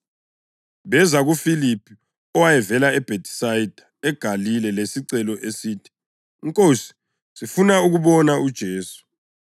Beza kuFiliphu owayevela eBhethisayida eGalile lesicelo esithi, “Nkosi, sifuna ukubona uJesu.”